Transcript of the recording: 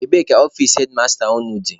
Ebee ka ọfici hedmasta unu dị?